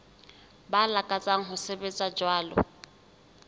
ba lakatsang ho sebetsa jwalo